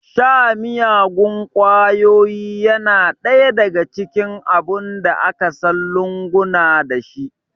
Sha miyagun ƙwayoyi yana ɗaya daga cikin abun da aka san lunguna dashi